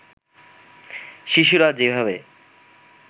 শিশুরা যেভাবে